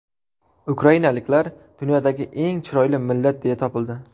Ukrainaliklar dunyodagi eng chiroyli millat deya topildi.